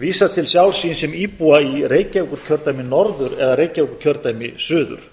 vísar til sjálfs sín sem íbúa í reykjavíkurkjördæmi norður eða reykjavíkurkjördæmi suður